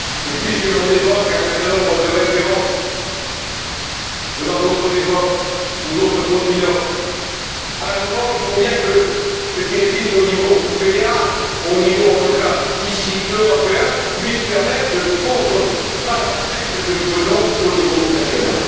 Puisque l'on évoque un certain nombre de références venant d'autres époques ou d'autres continents, à un moment il faut bien que ce qui existe au niveau fédéral, au niveau en tout cas ici européen, puisse permettre de contrebalancer ce que nous faisons au niveau national.